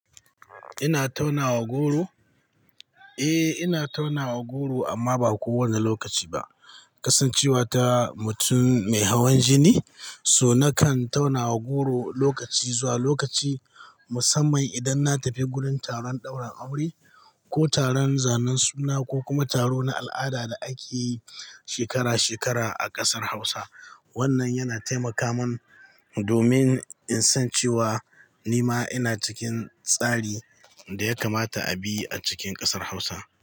Ina taunawa goro? Eh, ina taunawa goro amma ba kowane lokaci ba. Kasancewa ta mutum mai hawan jini, so nakan taunawa goro lokaci zuwa lokaci musamman idan na tafi gurin taron daura aure ko taron zanen suna ko kuma taro na al'ada da ake yi shekara-shekara a ƙasar Hausa. Wannan yana taimaka mun domin in san cewa nima ina cikin tsari da ya kamata a bi a cikin ƙasar Hausa.